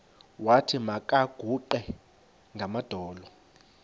wathi makaguqe ngamadolo